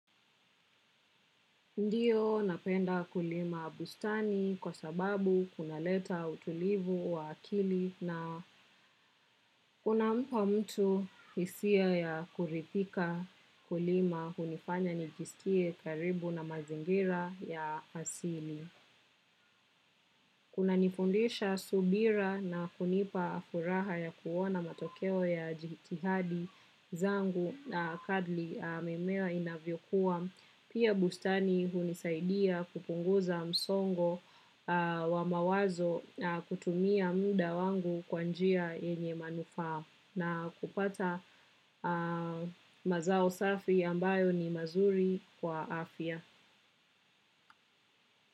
Ndio napenda kulima bustani kwa sababu kunaleta utulivu wa akili na kunampa mtu hisia ya kuridhika kulima hunifanya nijiskie karibu na mazingira ya asili. Kunanifundisha subira na kunipa furaha ya kuona matokeo ya jihitihadi zangu kadri mimea inavyokuwa, pia bustani hunisaidia kupunguza msongo wa mawazo kutumia muda wangu kwa njia yenye manufaa na kupata mazao safi ambayo ni mazuri kwa afya.